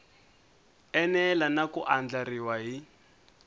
enela na ku andlariwa hi